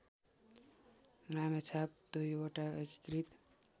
रामेछाप २बाट एकीकृत